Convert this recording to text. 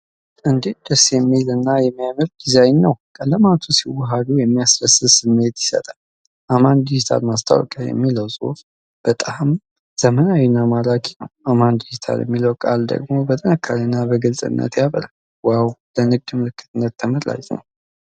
እንዴት ደስ የሚል እና የሚያምር ዲዛይን ነው! ቀለማቱ ሲዋሃዱ የሚያስደስት ስሜት ይሰጣሉ። 'አማን ዲጂታል ማስታወቂያ' የሚለው ጽሑፍ በጣም ዘመናዊና ማራኪ ነው። 'አማን ዲጂታል' የሚለው ቃል ደግሞ በጥንካሬና በግልጽነት ያበራል። ዋው! ለንግድ ምልክትነት ተመራጭ ነው!